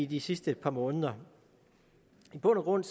de sidste par måneder i bund og grund